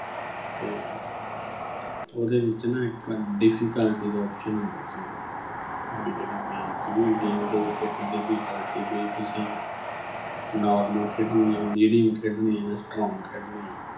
ਤੇ ਉਹਦੇ ਵਿੱਚ ਨਾ ਇੱਕ difficulty ਦਾ option ਹੁੰਦਾ ਸੀ ਵੀ ਜਿਹੜੀ game ਸੀਗੀ game ਦੇ ਵਿੱਚ ਇੱਕ difficulty ਵੀ ਤੁਸੀਂ normal ਖੇਡਣੀ ਆ medium ਖੇਡਣੀ ਆ ਜਾਂ strong ਖੇਡਣੀ ਆ